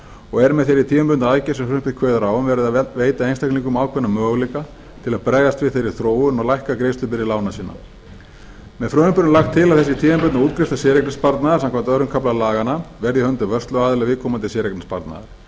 og er með þeirri tímabundnu aðgerð sem frumvarpið kveður á um verið að veita einstaklingum ákveðna möguleika til að bregðast við þeirri þróun og lækka greiðslubyrði lána sinna með frumvarpinu er lagt til að þessi tímabundnu útgreiðslur séreignarsparnaðar samkvæmt öðrum kafla laganna verði í höndum vörsluaðila viðkomandi séreignarsparnaðar